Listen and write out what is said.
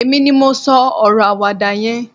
èmi ni mo so oro awada yen